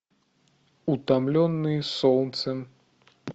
утомленные солнцем